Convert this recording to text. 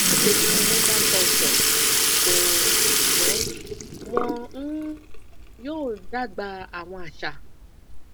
omi lumbar puncture ko o ṣugbọn wọn um yoo dagba awọn aṣa